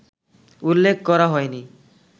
উল্লেখ করা হয়নি